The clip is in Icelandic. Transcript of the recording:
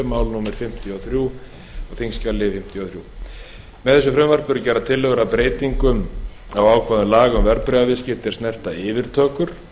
mál á þingskjali fimmtíu og þrjú með þessu frumvarpi eru gerðar tillögur að breytingum á ákvæðum laga um verðbréfaviðskipti er snerta yfirtökur